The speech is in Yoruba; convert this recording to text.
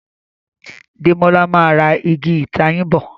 Demola má rà Ìgi ìtayín bọ.